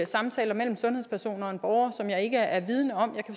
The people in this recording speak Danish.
samtaler mellem sundhedspersoner og en borger som jeg ikke er vidende om jeg